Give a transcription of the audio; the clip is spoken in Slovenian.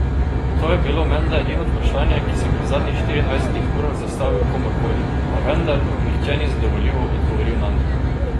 To je bilo menda edino vprašanje, ki sem ga v zadnjih štiriindvajsetih urah zastavil komurkoli, pa vendar mi nihče ni zadovoljivo odgovoril nanj.